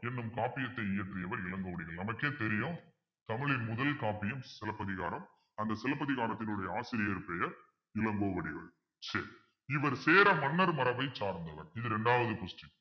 என்னும் காப்பீயத்தை இயற்றியவர் இளங்கோவடிகள் நமக்கே தெரியும் தமிழின் முதல் காப்பியம் சிலப்பதிகாரம் அந்த சிலப்பதிகாரத்தினுடைய ஆசிரியர் பெயர் இளங்கோவடிகள் சரி இவர் சேர மன்னர் மரபைச் சார்ந்தவர் இது இரண்டாவது question